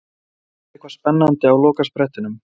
Gerist eitthvað spennandi á lokasprettinum?